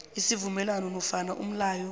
isivumelwano nofana umlayo